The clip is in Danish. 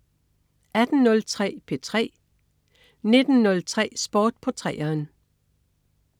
18.03 P3 19.03 Sport på 3'eren